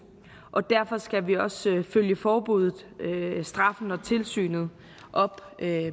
og derfor skal vi også følge forbuddet straffen og tilsynet op med